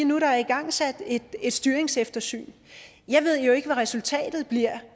nu er igangsat et styringseftersyn jeg ved ikke hvad resultatet